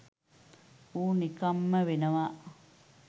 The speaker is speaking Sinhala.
ඌ නිකම්ම වෙනවා.